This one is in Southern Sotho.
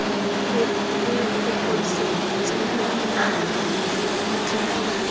le phokotsehong ya ho putlama